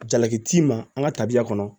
Jalaki t'i ma an ka tabiya kɔnɔ